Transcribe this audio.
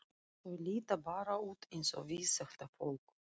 Þau líta bara út eins og við, þetta fólk.